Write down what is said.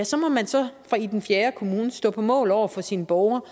så må man så i den fjerde kommune stå på mål over for sine borgere